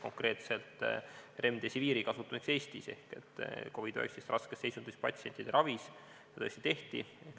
Konkreetselt remdesiviiri kasutamiseks Eestis COVID-19 raskes seisundis patsientide ravis seda tõesti tehti.